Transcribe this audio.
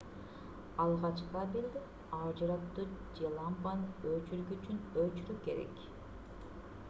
алгач кабелди ажыратуу же лампанын өчүргүчүн өчүрүү керек